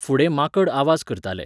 फुडें माकड आवाज करताले.